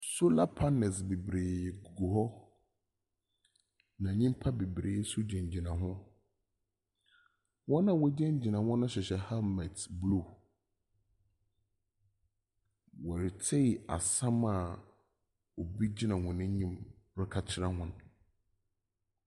Solar panels beberee gugu hɔ, na nyimpa beberee nso gyinagyina hɔ. Hɔn a wɔgyinagyina hɔ no hyehyɛ helmet blue. Wɔretsei asɛm a obi gyina hɔn enyim reka kyerɛ hɔn.